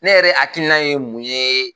Ne yɛrɛ hakiina ye mun ye